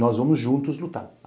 Nós vamos juntos lutar.